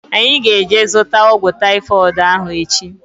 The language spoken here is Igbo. Anyị ga-eje zụta ọgwụ taifọdụ ahu echi